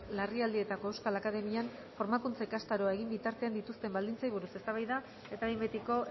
larrialdietako euskal akademian formakuntza ikastaroa egin bitartean dituzten baldintzei buruz eztabaida eta behin betiko